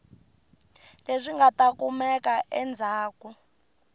leswi nga ta kumeka endzhaku